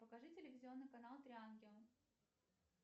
покажи телевизионный канал три ангела